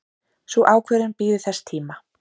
Sú ákvörðun bíður þess tíma.